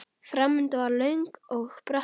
Framundan var löng og brött brekka.